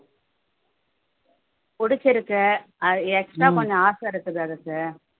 புடிச்சிருக்கு அது extra கொஞ்சம் ஆசை இருக்கு அதுக்கு